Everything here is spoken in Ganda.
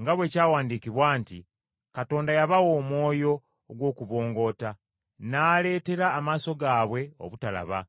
nga bwe kyawandiikibwa nti, “Katonda yabawa omwoyo ogw’okubongoota, n’aleetera amaaso gaabwe obutalaba,